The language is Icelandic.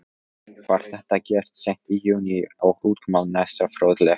Var þetta gert seint í júní og útkoman næsta fróðleg.